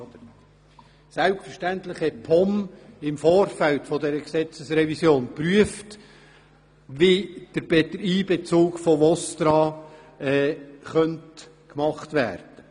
Die POM hat selbstverständlich im Vorfeld zu dieser Gesetzesrevision geprüft, wie der Einbezug von VOSTRA erfolgen könnte.